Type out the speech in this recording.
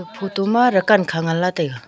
huto ma rakan khan nganla taiga.